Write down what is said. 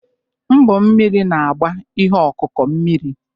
Mkpọ mmiri na-agba ihe ọkụkụ mmiri.